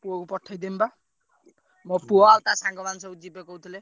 ପୁଅକୁ ପଠେଇ ଦେମି ବା। ମୋ ପୁଅ ଆଉ ତା ସାଙ୍ଗମାନେ ସବୁ ଯିବେ କହୁଥିଲେ।